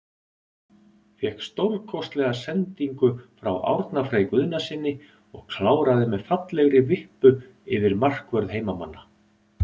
Fékk stórkostlega sendingu frá Árna Frey Guðnasyni og kláraði með fallegri vippu yfir markvörð heimamanna.